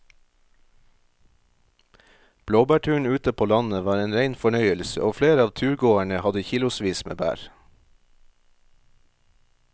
Blåbærturen ute på landet var en rein fornøyelse og flere av turgåerene hadde kilosvis med bær.